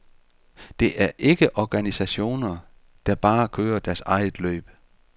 Det er ikke organisationer, der bare kører deres eget løb.